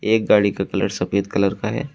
एक गाड़ी का कलर सफेद कलर का है।